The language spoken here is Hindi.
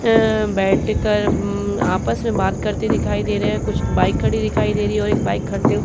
ये बैठकर अमम आपस में बात करते दिखाई दे रहे है। कुछ बाइक खड़ी दिखाई दे रही हैं और एक बाइक खड़ते--